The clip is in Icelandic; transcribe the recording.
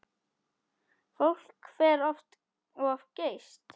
Fólk fer of geyst.